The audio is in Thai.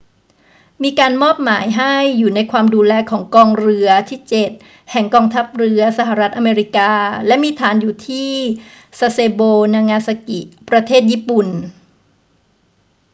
มีการมอบหมายให้อยู่ในความดูแลของกองเรือที่เจ็ดแห่งกองทัพเรือสหรัฐอเมริกาและมีฐานอยู่ที่ซาเซโบ นางาซากิ ประเทศญี่ปุ่น